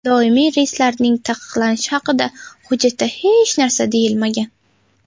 Doimiy reyslarning taqiqlanishi haqida hujjatda hech narsa deyilmagan.